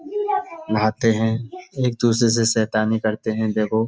नहाते हैं। एक-दूसरे से शैतानी करते हैं देखो।